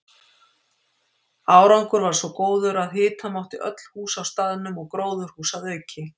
Árangur varð svo góður að hita mátti öll hús á staðnum og gróðurhús að auki.